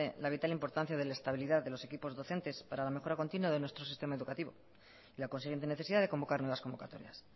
la vital importancia de la estabilidad de los equipos docentes para una mejora continua de nuestro sistema educativo y la consiguiente necesidad de convocar nuevas convocatorias